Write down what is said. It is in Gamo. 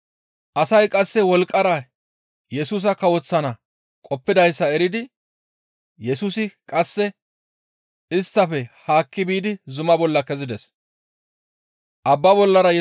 Asay qasse wolqqara Yesusa kawoththana qoppidayssa eridi Yesusi qasseka isttafe haakki biidi zuma bolla kezides.